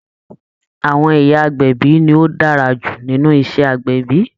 Àwọn ìyá agbẹ̀bí ni ó dára jù nínú iṣẹ́ agbẹ̀bí